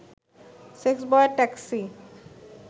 সেক্সবয়ের taxi